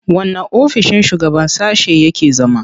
Wanne ofissin shugaban sashe yake zama?